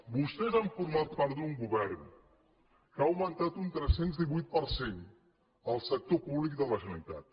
vostès han format part d’un govern que augmentat un tres cents i divuit per cent el sector públic de la generalitat